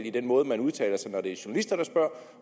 i den måde man udtaler sig når det er journalister der spørger